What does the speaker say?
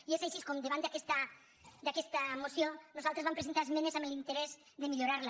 i és així com davant d’aquesta moció nosaltres vam presentar esmenes amb l’interès de millorar la